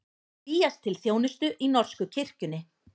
Vígjast til þjónustu í norsku kirkjunni